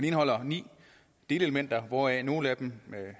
indeholder ni delelementer hvoraf nogle af dem